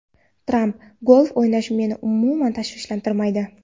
Tramp: Golf o‘ynash meni umuman tashvishlantirmaydi.